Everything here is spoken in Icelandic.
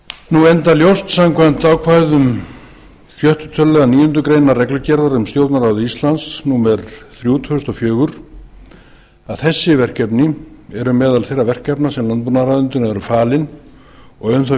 enda ljóst samkvæmt ákvæðum sjötta tölulið níundu grein reglugerðar um stjórnarráð íslands númer þrjú tvö þúsund og fjögur að þessi verkefni eru meðal þeirra verkefna sem landbúnaðarráðuneytinu eru falin og um þau er